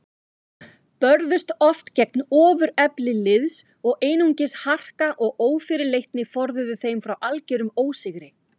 Börðust oft gegn ofurefli liðs og einungis harka og ófyrirleitni forðuðu þeim frá algerum ósigri.